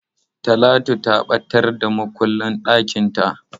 Talatu ta ɓatar da makullin ɗakinta.